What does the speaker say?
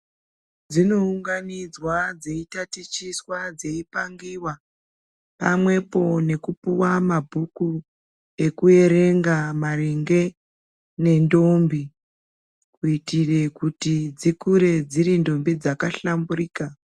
Dzinounganidzwa dzeitatichiswa dzeipangiwa pamwepo ngekupiwa mabhuku ekuerenga maringe nendombi kuitire kuti dzikure dziri ndombi dzakahlamburika.